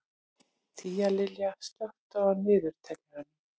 Tíalilja, slökktu á niðurteljaranum.